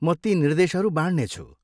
म ती निर्देशहरू बाँड्ने छु।